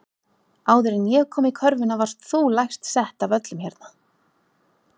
Áður en ég kom í körfuna varst þú lægst sett af öllum hérna.